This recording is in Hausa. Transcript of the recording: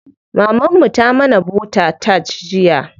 Maman mu ta mana bota tart jiya.